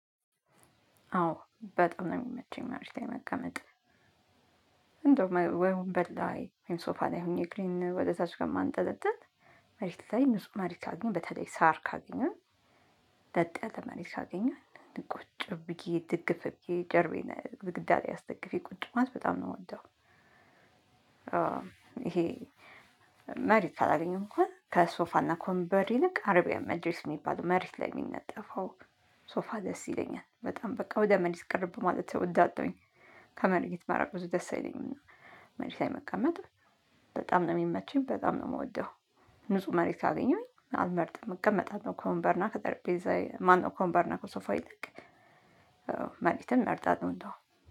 አዎ በጣም ነው የሚመቸኝ ማርሽ ላይ መቀመጥ። እንደው ወይ ወንበር ላይ ወይም ሶፋ ላይ ሆኜ እግሬን ወደ እታች ከማንጠለጠል መሬት ላይ እነሱም አርጊ ካሉኝ በተለይ ሳር ካገኘን ለጥ መሬት ካገኘሁ ቁጭ ብዬ ድግፍ ብዬ ጀርባዬን ግዳግዳ ላይ አስደግፌ ቁጭ ማለት በጣም ነው የምወደው። ይሄ መሬት ካላገኘው እንኳን ከሶፋና ከወንበር ይልቅ አርቢያ መጂሊስ የሚባለው መሬት ላይ የሚነጠፈው ሶፋ ደስ ይለኛል። በጣም በቃ ወደ መሬት ቀረብ ማለት እወዳለውኝ። ከመሬት መራቅ ብዙ ደስ አይለኝም። መሬት መቀመጥ በጣም ነው የሚመቸኝ በጣም ነው የምወደው። ንጹህ መሬት ካገኘሁኝ አልመርጥም እቀመጣለው ነው ከወንበርና ከጠረጴዛ ማነው ከወንበርና ከሶፋዬ ይልቅ መሬትን እመርጣልሁ እንዳውም።